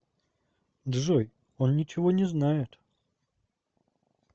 джой он ничего не знает